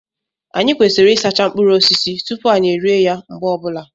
Anyị kwesịrị ịsacha mkpụrụ osisi tupu anyị erie ya mgbe ọbụla